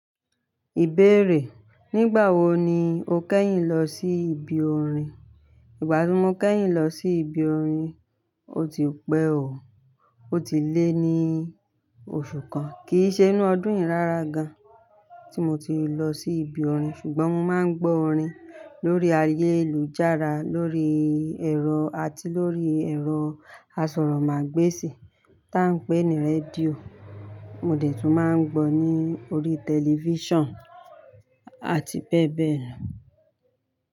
Ìbéèrè: Nígbà wo ni o kẹ́yìn lọ sí ibi orin? Ìgbà tí mo kẹ́yìn lọ sí ibi orin, ó ti pẹ́ o. Ó ti lé ní oṣù kan, kì í ṣe inú ọdún yí rárá gan tí mo ti lọ sí ibi orin. Ṣùgbọ́n mo máa ń gbọ́ orin lórí ayélujára, lórí ẹ̀rọ àti lórí ẹ̀rọ asọ̀rọ̀mágbèsì táa ń pè ní rédíò. Mo dẹ̀ tún máa ń gbọ́ ní orí tẹlifíṣàn àti bẹ́ẹ̀ bẹ́ẹ̀ lọ.